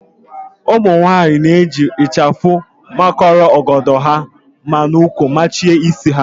Ụmụnwaanyị na-eji ịchafụ makọrọ ọgọdọ ha ma n'úkwù machie isi ha